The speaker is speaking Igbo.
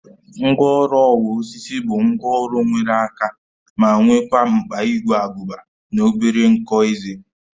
Ngwaọrụ ọwa osisi bụ ngwaọrụ nwere aka ma nwekwa mkpa ígwè agụba na obere nkọ ezé